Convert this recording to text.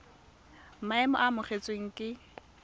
maemo a a amogelesegang ke